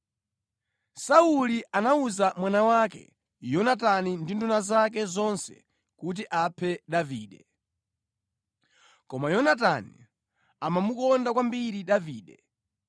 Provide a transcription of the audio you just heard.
Sauli anawuza mwana wake Yonatani ndi nduna zake zonse kuti aphe Davide. Koma Yonatani amamukonda kwambiri Davide.